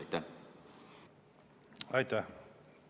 Aitäh!